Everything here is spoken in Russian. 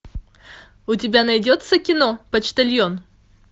у тебя найдется кино почтальон